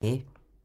DR1